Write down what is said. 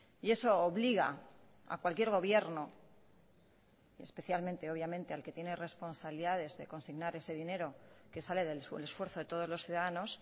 y eso obliga a cualquier gobierno especialmente obviamente al que tiene responsabilidades de consignar ese dinero que sale del esfuerzo de todos los ciudadanos